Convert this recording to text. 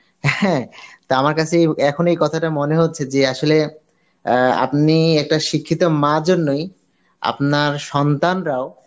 হ্যাঁ, তা আমার কাসে এই এখন এই কথাটা মনে হচ্ছে যে আসলে অ্যাঁ আপনি একটা শিক্ষিত মা জন্যই আপনার সন্তানরাও